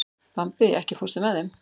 Bambi, ekki fórstu með þeim?